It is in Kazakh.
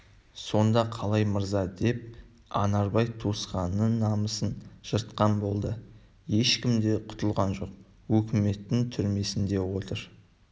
сонда қалай мырза деп анарбай туысқанының намысын жыртқан болды ешкім де құтылған жоқ өкіметтің түрмесінде отыр